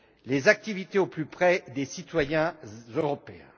les activités au plus près des citoyens européens.